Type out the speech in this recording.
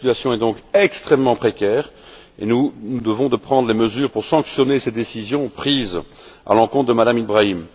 Sa situation est donc extrêmement précaire et nous nous devons de prendre les mesures pour sanctionner ces décisions prises à l'encontre de Mme Ibrahim.